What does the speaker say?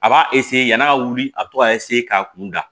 A b'a yann'a ka wuli a bɛ to ka k'a kun da